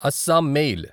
Assam mail